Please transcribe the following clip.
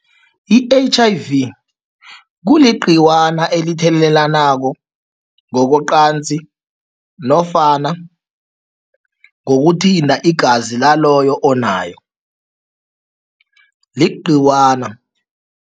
I-H_I_V kuligcikwana elithelelanako ngokocansi nofana ngokuthinta igazi laloyo onayo, ligcikwana.